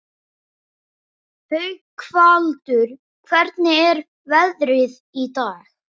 Haukvaldur, hvernig er veðrið í dag?